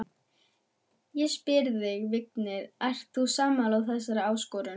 Ég spyr þig, Vignir, ert þú sammála þessari áskorun?